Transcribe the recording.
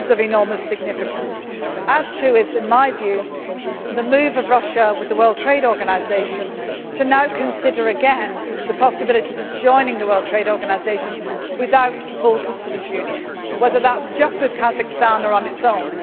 It is of enormous significance, as too is, in my view, the move of Russia with the World Trade Organisation to now consider again the possibility of joining the WTO without the full customs union, whether that is just with Kazakhstan or on its own.